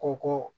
Ko ko